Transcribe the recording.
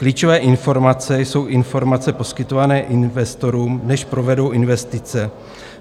Klíčové informace jsou informace poskytované investorům, než provedou investice.